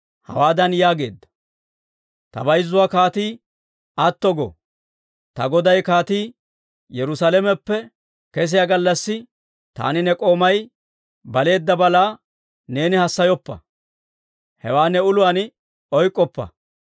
hawaadan yaageedda; «Ta bayzzuwaa kaatii atto go. Ta goday kaatii Yerusalameppe kesiyaa gallassi taani ne k'oomay baleedda balaa neeni hassayoppa. Hewaa ne uluwaan oyk'k'oppa.